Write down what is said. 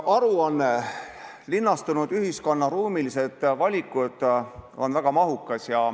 Aruanne "Linnastunud ühiskonna ruumilised valikud" on väga mahukas.